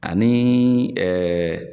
Ani ɛɛ